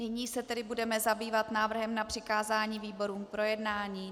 Nyní se tedy budeme zabývat návrhem na přikázání výborům k projednání.